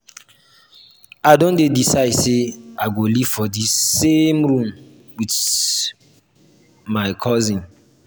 i don decide sey i go live for dis same room wit my wit my cousin.